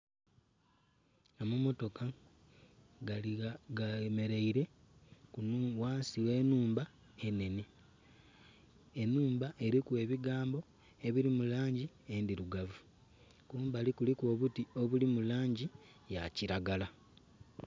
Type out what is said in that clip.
Amamotoka gemereire ghansi ghe nhumba enene enhumba eriku ebigambo ebiri mu langi endhirugavu kumbali kuliku obuti obuli mu langi eya kilagala.